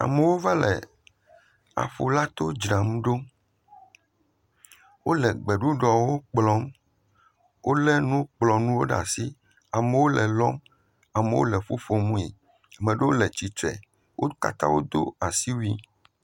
Amewo va le aƒulato dzram ɖo. Wole gbeɖuɖɔwo kplɔm. Wole nukplɔnuwo ɖe asi, amewo le lɔm, ame ɖewo le ƒuƒom me. Ame ɖewo le atsitre. Wo kata wodo asiwui